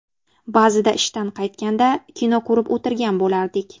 Ba’zida ishdan qaytganda, kino ko‘rib o‘tirgan bo‘lardik.